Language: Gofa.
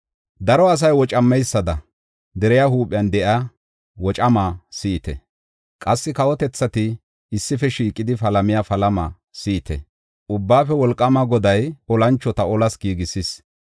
Daro asay wocameysada deriya huuphiyan de7iya wocamaa si7ite! Qassi kawotethati issife shiiqidi palamiya palama si7ite! Ubbaafe Wolqaama Goday olanchota olas giigisis.